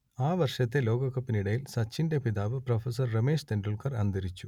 ആ വർഷത്തെ ലോകകപ്പിനിടയിൽ സച്ചിന്റെ പിതാവ് പ്രൊഫസർ രമേശ് തെൻഡുൽക്കർ അന്തരിച്ചു